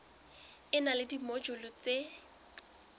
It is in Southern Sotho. e na le dimojule tse